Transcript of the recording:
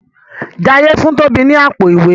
Jaiye fun Tobi ní Àpò-ìwé.